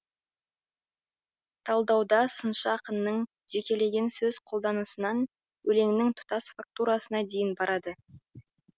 талдауда сыншы ақынның жекелеген сөз қолданысынан өлеңнің тұтас фактурасына дейін барады